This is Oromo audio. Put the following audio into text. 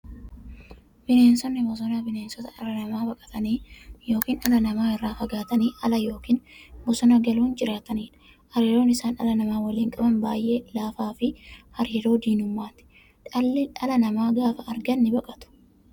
Bineensonni bosonaa bineensota dhala namaa baqatanii yookiin dhala namaa irraa fagaatanii ala yookiin bosona galuun jiraataniidha. Hariiroon isaan dhala namaa waliin qaban baay'ee laafaafi hariiroo diinummaati. Dhala namaa gaafa argan nibaqatu.